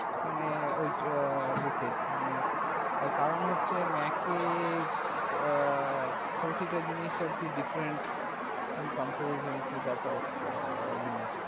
মানে ওই টা we set মানে কারণ হচ্ছে mac এ আ প্রতিটা জিনিস different in compersion to that of been